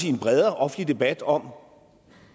i en bredere offentlig debat om